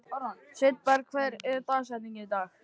Sveinberg, hver er dagsetningin í dag?